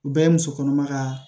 U bɛɛ ye musokɔnɔma ka